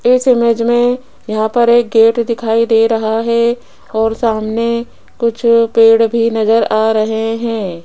इस इमेज में यहां पर एक गेट दिखाई दे रहा है और सामने कुछ पेड़ भी नजर आ रहे हैं।